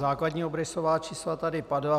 Základní obrysová čísla tady padla.